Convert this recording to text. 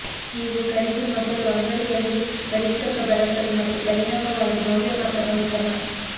ನೀವು ಖರೀದಿ ಮೊದಲು ಅಂಗಡಿಯಲ್ಲಿ ಪರೀಕ್ಷಕ ಬಳಸಲು ಮತ್ತು ಪರಿಣಾಮವಾಗಿ ಮೌಲ್ಯಮಾಪನ ಉತ್ತಮ